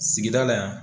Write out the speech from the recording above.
Sigida la yan